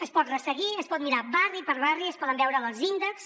es pot resseguir es pot mirar barri per barri es poden veure els índexs